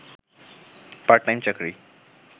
part time চাকরি